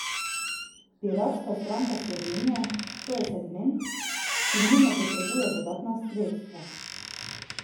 Piratska stranka Slovenije To je segment, ki nujno potrebuje dodatna sredstva.